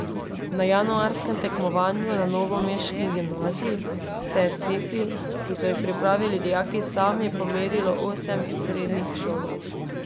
Na januarskem tekmovanju na novomeški gimnaziji se je s sefi, ki so jih pripravili dijaki sami, pomerilo osem srednjih šol.